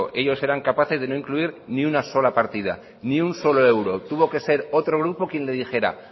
ellos eran capaces de no incluir ni una sola partida ni un solo euro tuvo que ser otro grupo quien le dijera